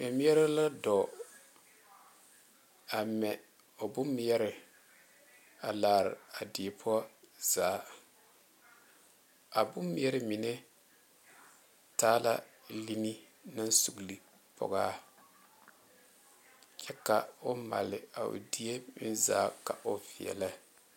Mɛmeɛre la dɔ a mɛ o boŋ meɛrɛ a laare a die poɔ zaa a bone mɛre mine taa la line suuli poɔ a kyɛ ka o maale a di poɔ zaa ks o vɛŋɛ.